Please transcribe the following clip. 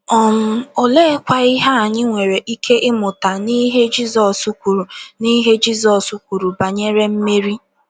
um Oleekwa ihe anyị nwere ike ịmụta n’ihe Jizọs kwuru n’ihe Jizọs kwuru banyere Meri?